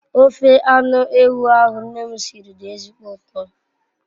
Ofe anu ewu ahu nne m siri di ezigbo uto